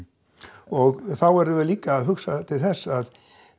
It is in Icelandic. og þá verðum við líka að hugsa til þess að